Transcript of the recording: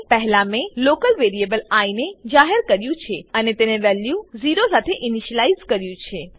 પહેલા મેં local variable I ને જાહેર કર્યું છે અને તેને વેલ્યુ 0 સાથે ઇનીશલાઈઝ કર્યું છે